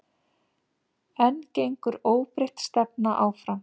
En gengur óbreytt stefna áfram?